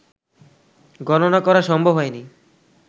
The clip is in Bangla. গণনা করা সম্ভব হয়নি